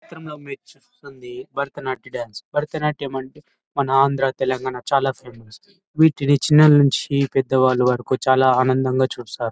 చిత్రం లో మీరు చూస్తుంది Bharatanatyam dance Bharatanatyam అంటే మన ఆంధ్ర తెలంగాణ చాలా ఫేమస్ వీటిని చిన్న నుంచి పెద్దవాళ్లవరకు చాలా ఆనందంగా చూస్తారు.